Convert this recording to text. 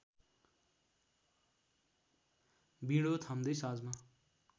बिँडो थाम्दै साँझमा